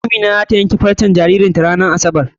Amina zata yanke farcen jaririn ta ran asabar.